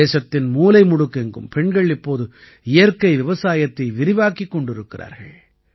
தேசத்தின் மூலைமுடுக்கெங்கும் பெண்கள் இப்போது இயற்கை விவசாயத்தை விரிவாக்கிக் கொண்டிருக்கிறார்கள்